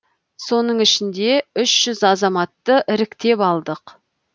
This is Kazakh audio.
соның ішінде үш жүз азаматты іріктеп алдық